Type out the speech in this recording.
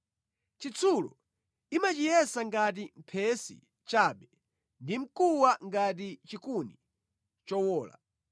Chitsulo imachiyesa ngati phesi chabe ndi mkuwa ngati chikuni chowola.